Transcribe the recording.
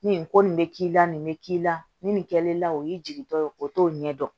Ni nin ko nin bɛ k'i la nin bɛ k'i la ni nin kɛlen o y'i jigitɔ ye o t'o ɲɛ dɔn